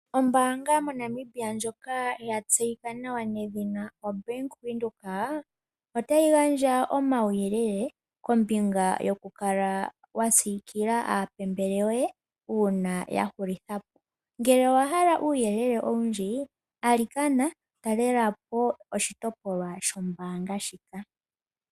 Ombanga moNamibia ndjoka yatseyika nawa nedhina oBank Windhoek otayi gandja omawuyelele kombinga yoku kala wa sikilila aapambele yoye una yahulithapo. Ngele owa hala uuyelele owundji alikana talelapo oshitopolwa shombanga shika.